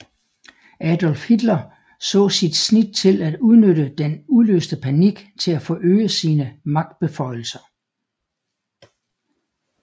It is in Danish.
Adolf Hitler så sit snit til at udnytte den udløste panik til at forøge sine magtbeføjelser